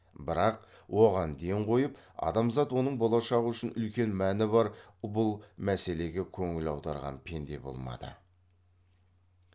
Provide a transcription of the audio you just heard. бірақ оған ден қойып адамзат оның болашағы үшін үлкен мәні бар бұл мәселеге көңіл аударған пенде болмады